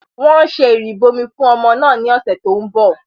Wọ́n ṣe ìrìbọmi fún ọmọ náà ní ọ̀sẹ̀ tó ń bọ̀